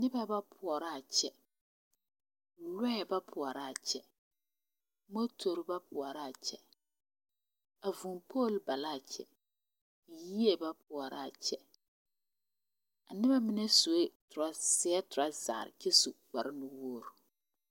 Noba ba pɔɔrɔ a kyɛ lɔɛ ba pɔɔrɔ aa kyɛ motore ba pɔɔrɔ aa kyɛ a vūū pole ba laa kyɛ yie ba pɔɔrɔ aa kyɛ a nobɛ mine suee seɛɛ trɔzarre kyɛ su kparebluu.